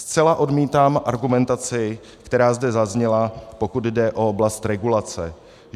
Zcela odmítám argumentaci, která zde zazněla, pokud jde o oblast regulace.